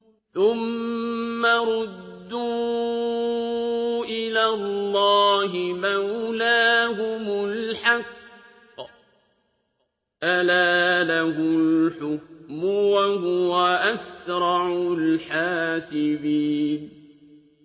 ثُمَّ رُدُّوا إِلَى اللَّهِ مَوْلَاهُمُ الْحَقِّ ۚ أَلَا لَهُ الْحُكْمُ وَهُوَ أَسْرَعُ الْحَاسِبِينَ